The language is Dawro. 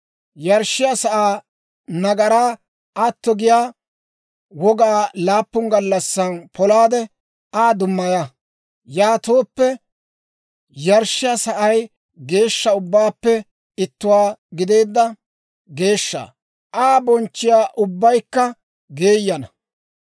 Yarshshiyaa sa'aa nagaraa atto giyaa wogaa laappun gallassan polaade, Aa dummaya. Yaatooppe yarshshiyaa sa'ay geeshsha ubbaappe ittuwaa gideedda geeshsha. Aa bochchiyaa ubbaykka geeyyana.